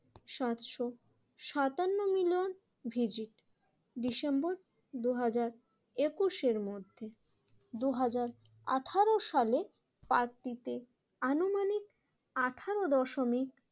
সাতশো সাতান্ন million visit December দুই হাজার একুশের এর মধ্যে দুই হাজার আঠেরো সালে পার্কটিতে আনুমানিক আঠেরো দশমিক